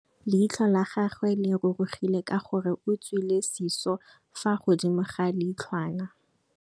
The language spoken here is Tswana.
Leitlhô la gagwe le rurugile ka gore o tswile sisô fa godimo ga leitlhwana.